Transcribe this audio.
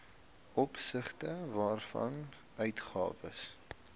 opsigte waarvan uitgawes